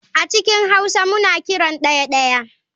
A cikin hauwa muna kiran daya (daya)